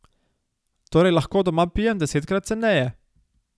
Torej lahko doma pijem desetkrat ceneje.